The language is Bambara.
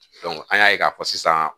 an y'a ye k'a fɔ sisan